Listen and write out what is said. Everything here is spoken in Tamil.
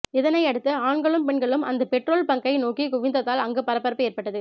இதனை அடுத்து ஆண்களும் பெண்களும் அந்த பெட்ரோல் பங்க்கை நோக்கி குவிந்ததால் அங்கு பரபரப்பு ஏற்பட்டது